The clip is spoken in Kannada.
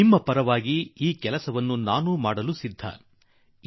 ನಿಮ್ಮೆಲ್ಲರ ಪರವಾಗಿ ಈ ಕೆಲಸ ಮಾಡಲು ತಯಾರಿದ್ದೇ